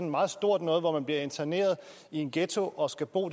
meget stort noget hvor man bliver interneret i en ghetto og skal bo